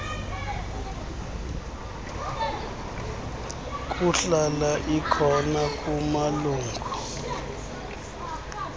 kuhlala ikhona kumalungu